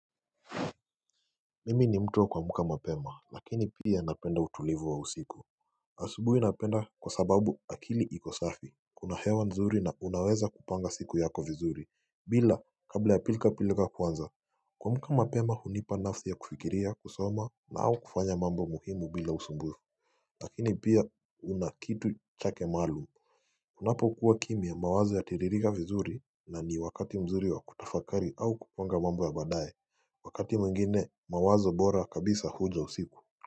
Mimi ni mtu wa kuamuka mapema lakini pia napenda utulivu wa usiku asubuhi napenda kwa sababu akili iko safi Kuna hewa nzuri na unaweza kupanga siku yako vizuri bila kabla ya pilka pilka kwanza Kuuamuka mapema hunipa nafsi ya kufikiria kusoma na au kufanya mambo muhimu bila usumbu Lakini pia unakitu chake maalum Unapo kuwa kimya mawazo yatiririka vizuri na ni wakati mzuri wa kutafakari au kupanga mambo ya baadaye wakati mwingine mawazo bora kabisa huja usiku.